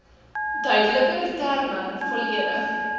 duideliker terme volledig